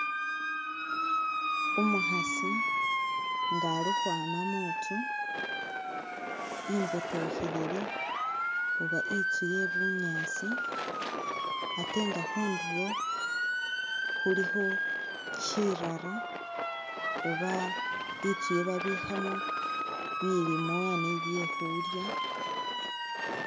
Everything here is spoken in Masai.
Umukhasi nga Ali ukhwama muntsu imbotokhelele oba itsu ye bunyaasi ate nga khunduro khulikho shirara oba itsu yebabikhamo bilimwa ni byekhulya